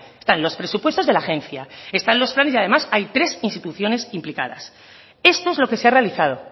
están los presupuestos de la agencia están los planes y además hay tres instituciones implicadas esto es lo que se ha realizado